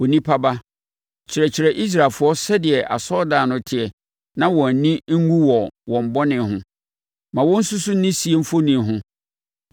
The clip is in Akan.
“Onipa ba, kyerɛkyerɛ Israelfoɔ sɛdeɛ asɔredan no teɛ na wɔn ani nwu wɔ wɔn bɔne ho. Ma wɔnsusu ne sie mfoni ho,